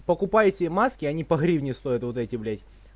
покупайте маски они по гривне стоят вот эти блять